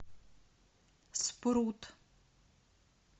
спрут